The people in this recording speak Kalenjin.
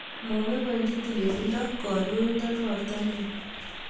Mapoipochi tililindo kandoindo notok eng